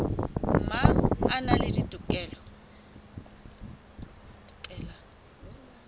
mang a na le dikotola